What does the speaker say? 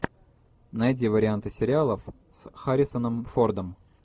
найди варианты сериалов с харрисоном фордом